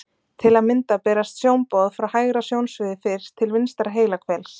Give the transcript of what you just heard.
Til að mynda berast sjónboð frá hægra sjónsviði fyrst til vinstra heilahvels.